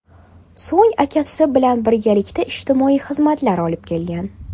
So‘ng uni akasi bilan birgalikda ijtimoiy xizmatlar olib ketgan.